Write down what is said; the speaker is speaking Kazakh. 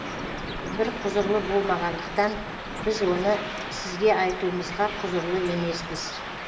біз құзырлы болмағандықтан біз оны сізге айтуымызға құзырлы емеспіз